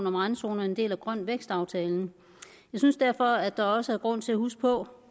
om randzoner en del af grøn vækst aftalen jeg synes derfor der også er grund til at huske på